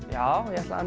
já ég ætlaði